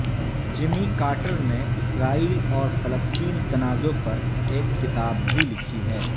جمی Carter نے اسرائیل اور فلسطین تنازع پر ایک کتاب بھی لکھی ہے